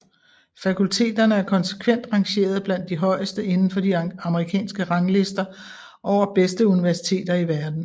Fakulteterne er konsekvent rangeret blandt de højeste indenfor de amerikanske ranglister over bedste universiteter i verden